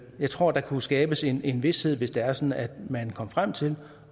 jeg tror der kunne skabes en en vished hvis det er sådan at man kom frem til